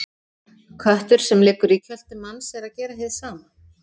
Köttur sem liggur í kjöltu manns er að gera hið sama.